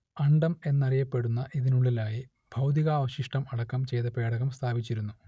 അണ്ഡം എന്നറിയപ്പെടുന്ന ഇതിനുള്ളിലായി ഭൗതികാവശിഷ്ടം അടക്കം ചെയ്ത പേടകം സ്ഥാപിച്ചിരുന്നു